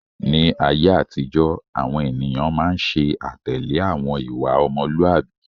Ni ayé àtijọ́, àwọn ènìyàn máa ń ṣe àtẹ̀lé àwọn ìwà ọmọlúàbí.